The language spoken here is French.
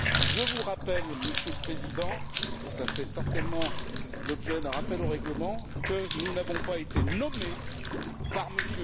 Je vous rappelle, Monsieur le Président, et ça fait certainement l'objet d'un rappel au règlement, que nous n'avons pas été nommés par M.